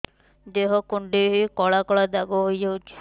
ଦେହ କୁଣ୍ଡେଇ ହେଇ କଳା କଳା ଦାଗ ହେଇଯାଉଛି